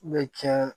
U bɛ tiɲɛ